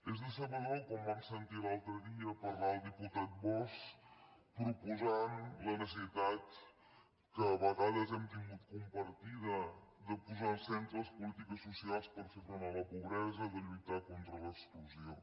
és decebedor quan vam sentir l’altre dia parlar el diputat bosch proposant la necessitat que a vegades hem tingut compartida de posar al centre les polítiques socials per fer front a la pobresa de lluitar contra l’exclusió